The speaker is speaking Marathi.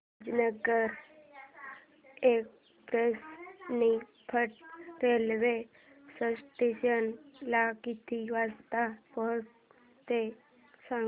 Rajendranagar express Niphad railway station ला किती वाजता पोहचते ते सांग